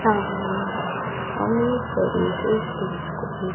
सामने हम एक बड़े से स्टेज को ये--